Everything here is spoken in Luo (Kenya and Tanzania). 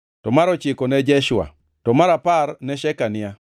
mar ochiko ne Jeshua, to mar apar ne Shekania,